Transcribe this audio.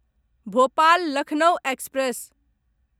Bhopal Lucknow express